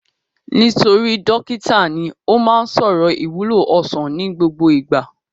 Nítorí dókítà ní, ó má ń sọ̀rọ̀ ìwúlò ọsàn ní gbogbo ìgbà